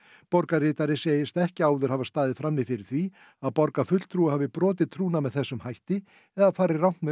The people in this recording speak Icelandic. borgarritari segist ekki áður hafa staðið frammi fyrir því að borgarfulltrúi hafi brotið trúnað með þessum hætti eða farið rangt með